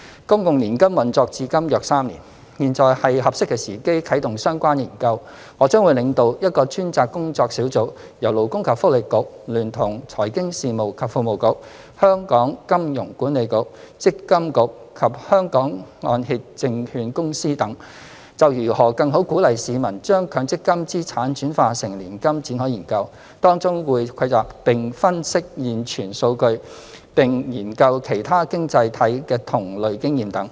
公共年金運作至今約3年，現在是合適的時機啟動相關研究，我將會領導一個專責工作小組，由勞工及福利局聯同財經事務及庫務局、香港金融管理局、積金局及香港按揭證券公司等，就如何更好鼓勵市民將強積金資產轉化成年金展開研究，當中會蒐集並分析現存數據，並研究其他經濟體的同類經驗等。